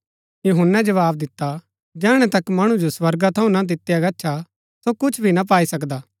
यूहन्‍नै जवाव दिता जैहणै तक मणु जो स्वर्गा थऊँ ना दितिआ गच्छा सो कुछ भी ना पाई सकदा